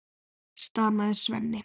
stamaði Svenni.